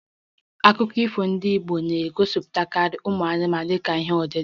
Akụkọ ifo ndị Igbo na-egosipụtakarị ụmụ anụmanụ dịka ihe odide